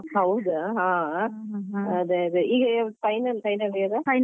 ಹೌದಾ ಹಾ ಅದೇ ಅದೇ ಈಗ final final year ಆ?